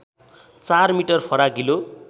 ४ metre फराकिलो